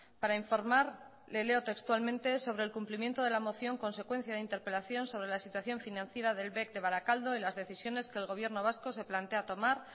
para informar le leo textualmente sobre el cumplimiento de la moción consecuencia de interpelación sobre la situación financiera del bec de barakaldo en las decisiones que el gobierno vasco se plantea tomar